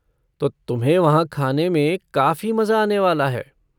तो तुम्हें वहाँ खाने में काफ़ी मजा आने वाला है।